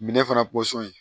Minɛ fana ye